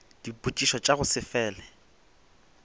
dipotšišo tša go se fele